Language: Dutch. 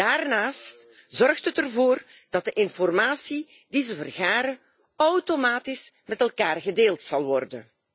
Daarnaast zorgt het ervoor dat de informatie die zij vergaren automatisch met elkaar gedeeld zal worden.